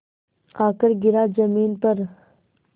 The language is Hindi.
आकर गिरा ज़मीन पर